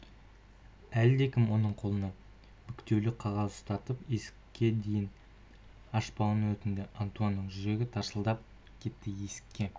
әлдекім оның қолына бүктеулі қағаз ұстатып есікке дейін ашпауын өтінді антуанның жүрегі тарсылдап кетті есікке